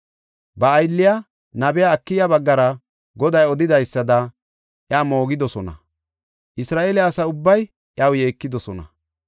Ba aylliya nabiya Akiya baggara Goday odidaysada iya moogidosona; Isra7eele asa ubbay iyaw yeekidosona.